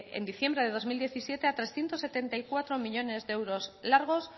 en diciembre de dos mil diecisiete a trescientos setenta y cuatro millónes de euros largos